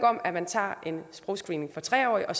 om at man tager en sprogscreening for tre årige og